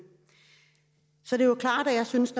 så det er jo klart at jeg synes